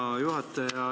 Hea juhataja!